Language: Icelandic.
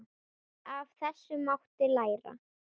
Af þessu mátti læra.